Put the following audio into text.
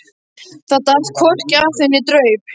Það datt hvorki af þeim né draup.